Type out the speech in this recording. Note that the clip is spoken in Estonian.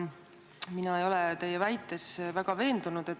Mina ei ole teie väites väga veendunud.